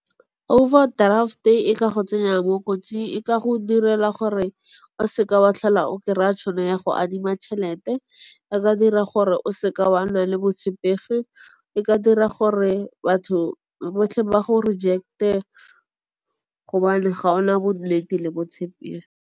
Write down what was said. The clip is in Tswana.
Overdraft-e e ka go tsenya mo kotsing, e ka go direla gore o seke wa tlhola o kry-a tšhono ya go adima tšhelete. E ka dira gore o seke wa nna le botshepegi, e ka dira gore batho botlhe ba go reject-e gobane ga ona nnete le bo tshepegi.